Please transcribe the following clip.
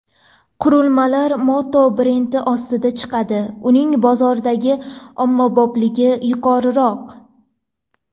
Qurilmalar Moto brendi ostida chiqadi uning bozordagi ommabopligi yuqoriroq.